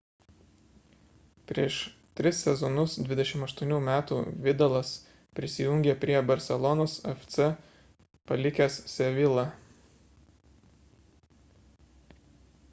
prieš tris sezonus 28 metų vidalas prisijungė prie barselonos fc palikęs sevilla